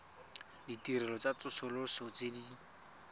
ditirelo tsa tsosoloso tse di